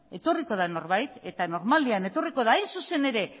etorriko da norbait eta normalean etorriko da hain zuzen ere